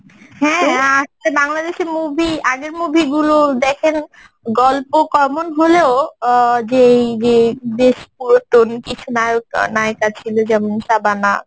হ্যাঁ ঁ বাংলাদেশের movie আগের movie গুলো দেখেন গল্প common হলেও অ্যাঁ যে এই যে বেশ পুরাতন কিছু নায়ক নায়িকা ছিল যেমন শাবানা